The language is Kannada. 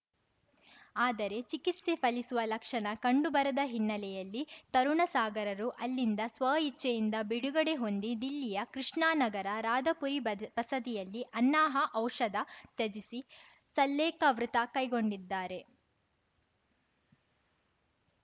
ಆದರೆ ಚಿಕಿತ್ಸೆ ಫಲಿಸುವ ಲಕ್ಷಣ ಕಂಡುಬರದ ಹಿನ್ನೆಲೆಯಲ್ಲಿ ತರುಣ ಸಾಗರರು ಅಲ್ಲಿಂದ ಸ್ವ ಇಚ್ಛೆಯಿಂದ ಬಿಡುಗಡೆ ಹೊಂದಿ ದಿಲ್ಲಿಯ ಕೃಷ್ಣಾ ನಗರ ರಾಧಾಪುರಿ ಬದ ಬಸದಿಯಲ್ಲಿ ಅನ್ನಾಹಾಔಷಧ ತ್ಯಜಿಸಿ ಸಲ್ಲೇಖ ವೃತ ಕೈಗೊಂಡಿದ್ದಾರೆ